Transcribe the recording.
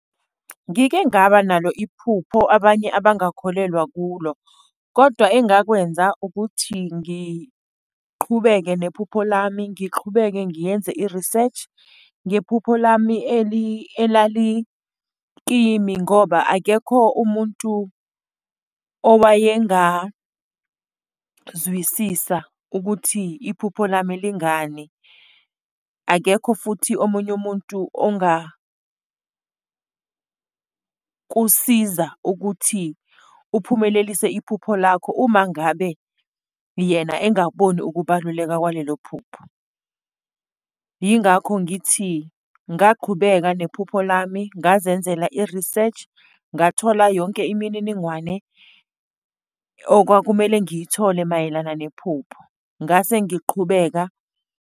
Ngike ngaba nalo iphupho abanye abangakholelwa kulo, kodwa engakwenza ukuthi ngiqhubeke nephupho lami, ngiqhubeke ngiyenze i-research ngephupho lami elalikimi ngoba akekho umuntu owayengazwisisa ukuthi iphupho lami lingani. Akekho futhi omunye umuntu ongakusiza ukuthi ukuphumelelisa iphupho lakho uma ngabe yena engaboni ukubaluleka kwalelo phupho. Yingakho ngithi ngaqhubeka lo nephupho lami ngazenzela i-research, ngathola yonke imininingwane okwakumele ngiyithole mayelana nephupho, ngase ngiqhubeka.